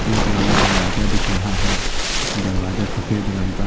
एक बड़ा दरवाजा दिख रहा है दरवाजा सफेद रंग का --